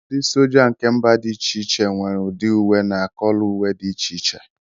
ndị sójá nke mba dị iche iche nwere ụdị uwe na kọlọ uwe di iche iche